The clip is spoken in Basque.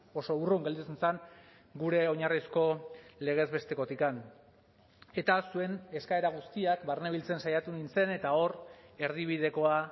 oso urrun gelditzen zen gure oinarrizko legez bestekotik eta zuen eskaera guztiak barnebiltzen saiatu nintzen eta hor erdibidekoa